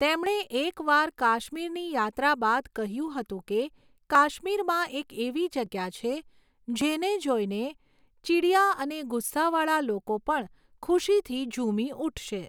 તેમણે એક વાર કાશ્મીરની યાત્રા બાદ કહ્યું હતું કે કાશ્મીરમાં એક એવી જગ્યા છે જેને જોઈને ચીડિયા અને ગુસ્સાવાળા લોકો પણ ખુશીથી ઝૂમી ઉઠશે.